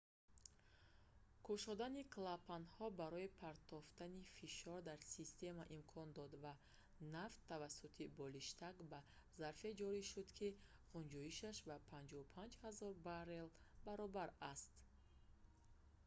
кушодани клапанҳо барои партофтани фишор дар система имкон дод ва нафт тавассути болиштак ба зарфе ҷорӣ шуд ки ғунҷоишаш ба 55 000 баррел 2,3 миллион галлон баробар аст